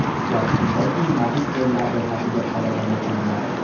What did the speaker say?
Gap shundaki, magistrlar ro‘yxatiga qaragan ekanman.